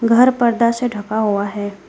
घर पर्दा से ढका हुआ है।